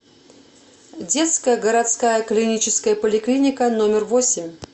детская городская клиническая поликлиника номер восемь